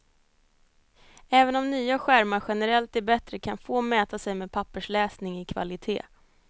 Även om nya skärmar generellt är bättre, kan få mäta sig med pappersläsning i kvalité.